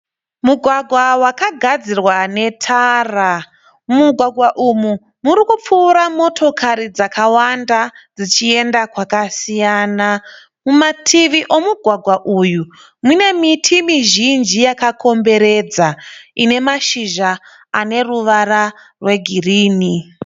Mugwagwa wakagadzirwa ne tara. Mumugwagwa umu murikupfuura motokari dzakawanda dzichienda kwakasiyana. Kumativi omugwagwa uyu ,muñe miti mizhinji yakakomberedza ,inemashizha aneruvara rwe girini.